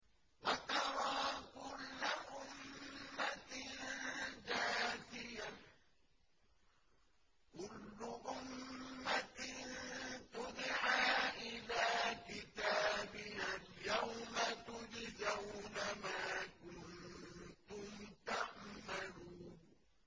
وَتَرَىٰ كُلَّ أُمَّةٍ جَاثِيَةً ۚ كُلُّ أُمَّةٍ تُدْعَىٰ إِلَىٰ كِتَابِهَا الْيَوْمَ تُجْزَوْنَ مَا كُنتُمْ تَعْمَلُونَ